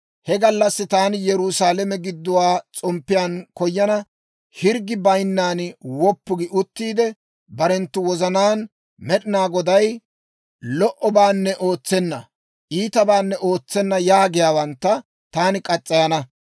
He gallassi taani Yerusaalame gidduwaa s'omppiyaan koyana; hirggi bayinnan woppu gi uttiide, barenttu wozanaan, ‹med'inaa Goday lo"obaanne ootsenna; iitabaanne ootsenna› yaagiyaawantta taani murana.